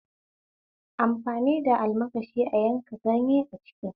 Amfani da almakashi a yanka ganyen a kicin